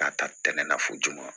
K'a ta tɛnɛ na fɔ joona